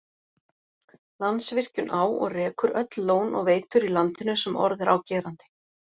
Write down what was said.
Landsvirkjun á og rekur öll lón og veitur í landinu sem orð er á gerandi.